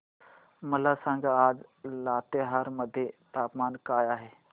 मला सांगा आज लातेहार मध्ये तापमान काय आहे